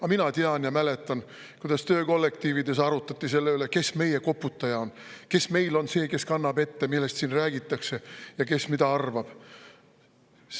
Aga mina tean ja mäletan, kuidas töökollektiivides arutati selle üle, kes meie koputaja on; kes meil on see, kes kannab ette, millest siin räägitakse ja kes mida arvab.